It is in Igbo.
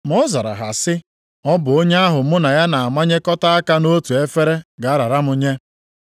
Ma ọ zara ha sị, “Ọ bụ onye ahụ mụ na ya na-amanyekọta aka nʼotu efere ga-arara m nye.